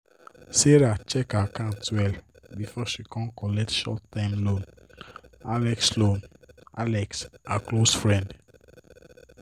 serah check her account well before she kon collect short term loan alex loan alex her close friend